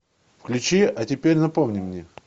включи а теперь напомни мне